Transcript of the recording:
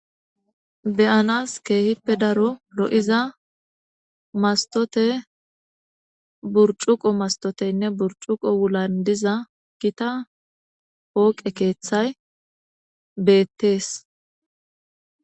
Be'anas kehippe daaro lo'ozza mastote burccuko mastoteyne burcuko wulan diza gita pooqe keththay bettes.